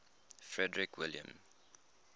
frederick william